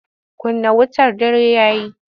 Kunna wutar dare ya yi!